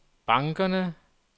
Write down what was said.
bankerne